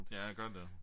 Ja gør det